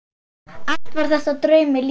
Allt var þetta draumi líkast.